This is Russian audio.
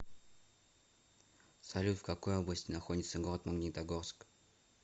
салют в какой области находится город магнитогорск